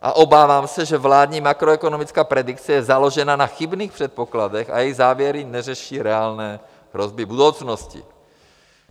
A obávám se, že vládní makroekonomická predikce je založena na chybných předpokladech a jejich závěry neřeší reálné hrozby budoucnosti.